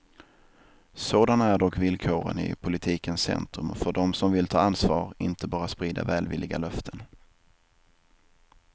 Sådana är dock villkoren i politikens centrum och för dem som vill ta ansvar, inte bara sprida välvilliga löften.